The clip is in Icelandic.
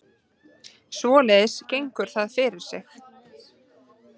Svoleiðis gengur það fyrir sig